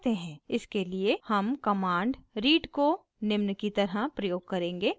इसके लिए हम कमांड read को निम्न की तरह प्रयोग करेंगे: